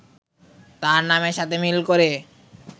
তার নামের সাথে মিল করে